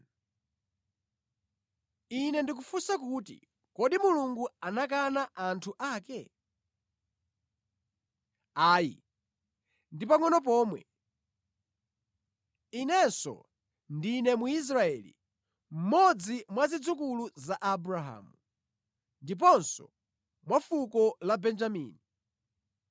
Ine ndikufunsa kuti kodi Mulungu anakana anthu ake? Ayi. Ndi pangʼono pomwe! Inenso ndine Mwisraeli, mmodzi mwa zidzukulu za Abrahamu, ndiponso wa fuko la Benjamini.